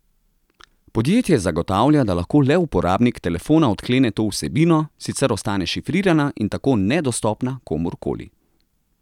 Podjetje zagotavlja, da lahko le uporabnik telefona odklene to vsebino, sicer ostane šifrirana in tako nedostopna komur koli.